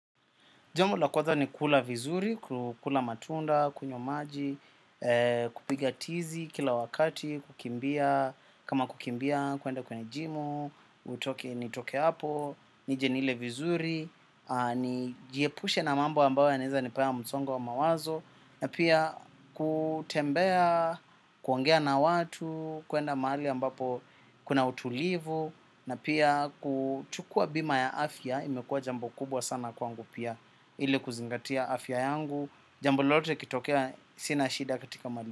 Jambo la kwaza ni kula vizuri, kula matunda, kunywa maji, kupiga tizi kila wakati, kukimbia, kama kukimbia kuenda kwenye jimu, utoke nitoke hapo, nije nile vizuri, jiepushe na mambo ambayo yanaweza nipea msongo wa mawazo, na pia kutembea, kuongea na watu, kuenda mahali ambapo kuna utulivu, na pia kuchukua bima ya afya imekua jambo kubwa sana kwangu pia. Ile kuzingatia afya yangu. Jambo lolote likitokea sina shida katika.